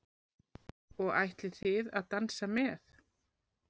Og ætlið þið að dansa með?